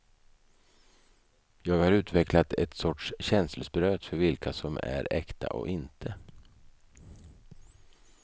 Jag har utvecklat ett sorts känselspröt för vilka som är äkta och inte.